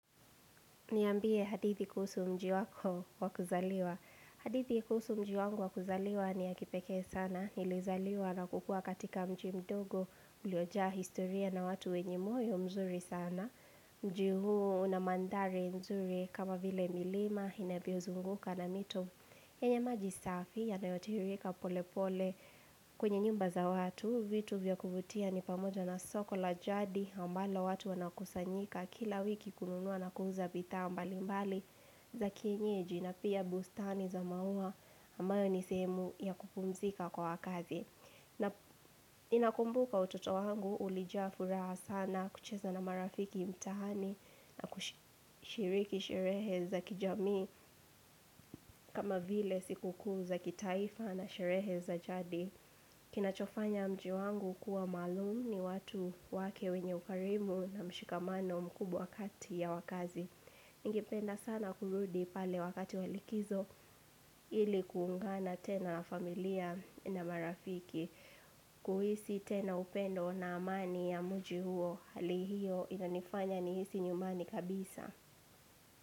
Niambie hadithi kuhusu mji wako wa kuzaliwa. Hadithi kuhusu mji wangu wa kuzaliwa ni ya kipekee sana. Nilizaliwa na kukua katika mji mdogo uliojaa historia na watu wenye moyo mzuri sana. Mji huu unamanthari mzuri kama vile milima inavyozunguka na mito. Yenye maji safi yanayotirika pole pole kwenye nyumba za watu. Huu vitu vya kuvutia ni pamoja na soko la jadi ambalo watu wanakusanyika kila wiki kununua na kuuza bidhaa ambali mbali za kienyeji na pia bustani za maua ambayo ni sehemu ya kupumzika kwa wakazi. Na inakumbuka utoto wangu ulijaa furaha sana kucheza na marafiki mtaani na kushiriki sherehe za kijamii kama vile siku kuu za kitaifa na sherehe za jadi. Kina chofanya mji wangu kuwa maluum ni watu wake wenye ukarimu na mshikamano mkubwa kati ya wakaazi Ningependa sana kurudi pale wakati wa likizo ili kuungana tena na familia na marafiki kuhisi tena upendo na amani ya mji huo hali hiyo inanifanya nihisi nyumbani kabisa.